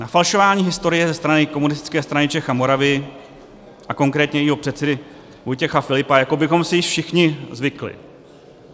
Na falšování historie ze strany Komunistické strany Čech a Moravy a konkrétně jejího předsedy Vojtěch Filipa jako bychom si již všichni zvykli.